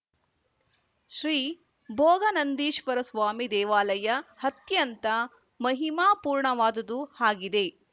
ಶ್ರೀ ಭೋಗಾ ನಂದೀಶ್ವರ ಸ್ವಾಮಿ ದೇವಾಲಯ ಅತ್ಯಂತ ಮಹಿಮಾಪೂರ್ಣವಾದುದು ಆಗಿದೆ